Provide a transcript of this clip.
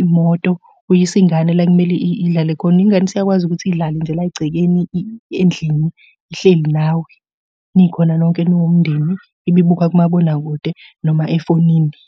imoto uyisa ingane la ekumele idlale khona. Ingane isiyakwazi ukuthi idlale nje la egcekeni endlini ihleli nawe nikhona nonke niwumndeni ibe ibuka kumabonakude noma efonini.